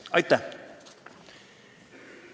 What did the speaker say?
Aitäh!